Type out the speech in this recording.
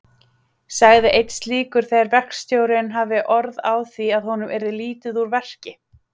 sagði einn slíkur þegar verkstjórinn hafði orð á því að honum yrði lítið úr verki.